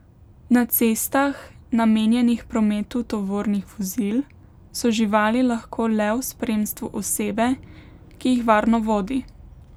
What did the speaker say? Na cestah, namenjenih prometu tovornih vozil, so živali lahko le v spremstvu osebe, ki jih varno vodi.